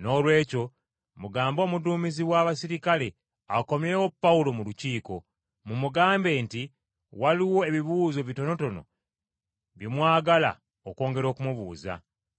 Noolwekyo mugambe omuduumizi w’abaserikale akomyewo Pawulo mu Lukiiko. Mumugamba nti waliwo ebibuuzo bitonotono bye mwagala okwongera okumubuuza.